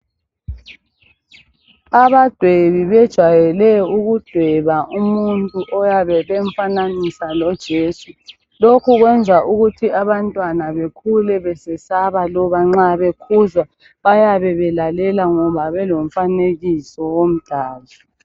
Abadwebi bejwayele ukudweba umuntu oyabe bemfananisa lojesu lokhu kwenza ukuthi abantwana bekhule besesaba loba nxa bekhuzwa bayabe belalela ngoba belomfanekiso womdali.